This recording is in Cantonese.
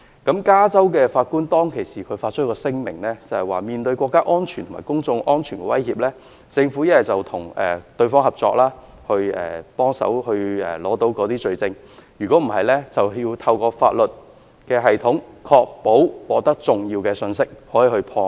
加州的法官當時曾發表聲明，指出在面對國家安全及公眾安全的威脅時，政府要不就與網絡安全公司合作取得罪證，不然就要透過法律系統，確保可以獲得重要信息，才能夠破案。